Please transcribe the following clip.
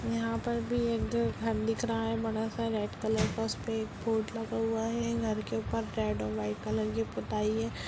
यहाँ पर भी एक दो घर दिख रहा है बड़ा-सा रेड कलर का उस पर एक बोर्ड लगा हुआ है घर के ऊपर रेड और वाइट कलर की पुताई है।